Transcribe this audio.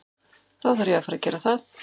Þá þarf ég að fara gera það.